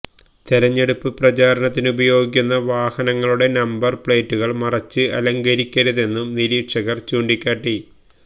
തെരഞ്ഞെടുപ്പ് പ്രചാരണത്തിനുപയോഗിക്കുന്ന വാഹനങ്ങളുടെ നമ്പര് പ്ലെയ്റ്റുകള് മറച്ച് അലങ്കരിക്കരുതെന്നും നിരീക്ഷകര് ചൂണ്ടിക്കാട്ടി